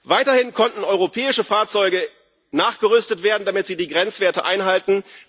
Weiterhin konnten europäische Fahrzeuge nachgerüstet werden, damit sie die Grenzwerte einhalten.